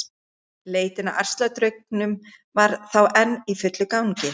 Leitin að ærsladraugnum var þá enn í fullum gangi!